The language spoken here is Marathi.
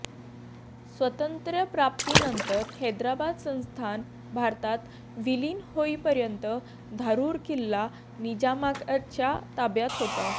स्वातंत्र्य प्राप्ती नंतर हैद्राबाद संस्थान भारतात विलिन होईपर्यंत धारूर किल्ला निजामाच्या ताब्यात होता